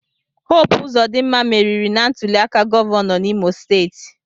Hope Uzodimma meriri na ntuliaka gọvanọ n'Imo steeti.